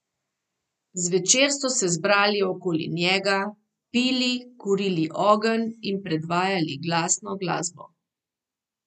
Zvečer so se zbrali okoli njega, pili, kurili ogenj in predvajali glasno glasbo.